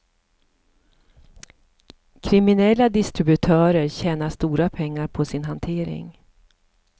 Kriminella distributörer tjänar stora pengar på sin hantering.